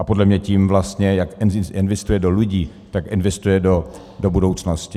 A podle mě tím vlastně, jak investuje do lidí, tak investuje do budoucnosti.